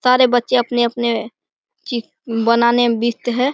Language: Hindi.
सारे बच्चे अपने-अपने ची बनाने में व्यस्त है।